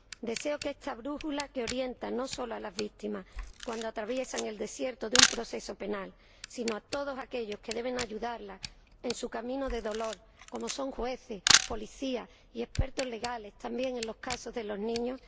Deseo que esta brújula oriente no solo a las víctimas cuando atraviesan el desierto de un proceso penal, sino también a todos aquellos que deben ayudarlas en su camino de dolor, como son jueces, policías, y expertos legales, también en los casos de los niños